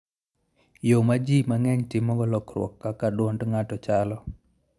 Yo ma ji mang'eny timogo lokruok kaka dwond ng'ato chalo.